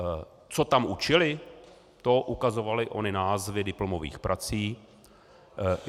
Co tam učili, to ukazovaly ony názvy diplomových prací.